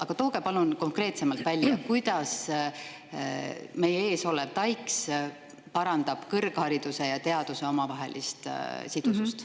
Aga tooge palun konkreetsemalt välja, kuidas meie ees olev TAIKS parandab kõrghariduse ja teaduse omavahelist sidusust.